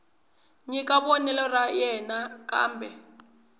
nyika vonelo ra yena kambe